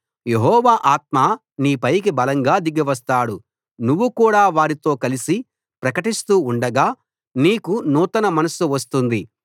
యెహోవా ఆత్మ నీపైకి బలంగా దిగివస్తాడు నువ్వు కూడా వారితో కలిసి ప్రకటిస్తూ ఉండగా నీకు నూతన మనస్సు వస్తుంది